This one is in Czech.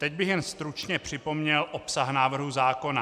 Teď bych jen stručně připomněl obsah návrhu zákona.